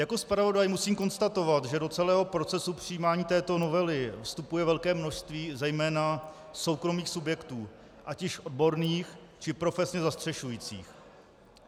Jako zpravodaj musím konstatovat, že do celého procesu přijímání této novely vstupuje velké množství zejména soukromých subjektů, ať již odborných, či profesně zastřešujících.